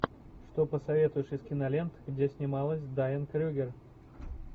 что посоветуешь из кинолент где снималась дайан крюгер